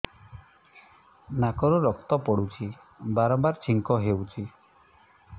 ନାକରୁ ରକ୍ତ ପଡୁଛି ବାରମ୍ବାର ଛିଙ୍କ ହଉଚି